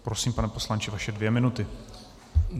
Prosím pane poslanče, vaše dvě minuty.